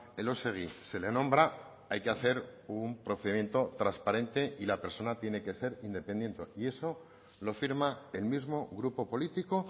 elósegui se le nombra hay que hacer un procedimiento transparente y la persona tiene que ser independiente y eso lo firma el mismo grupo político